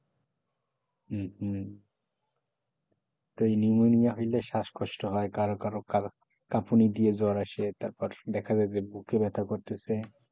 হম হম তো নিউমোনিয়া হইলে শ্বাসকষ্ট হয় কারো কারো কা কাঁপুনি দিয়ে জ্বর আসে তারপর দেখা যায় বুকে ব্যথা করতেছে,